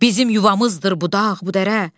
Bizim yuvamızdır bu dağ, bu dərə.